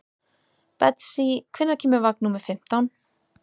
Betsý, hvenær kemur vagn númer fimmtán?